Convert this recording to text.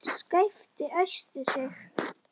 Skapti æsti sig.